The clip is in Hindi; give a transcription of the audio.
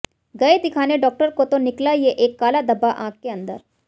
गए दिखाने डॉक्टर को तो निकला ये एक काला धब्बा आंख के अंदर